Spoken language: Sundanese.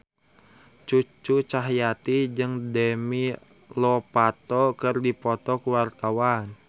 Cucu Cahyati jeung Demi Lovato keur dipoto ku wartawan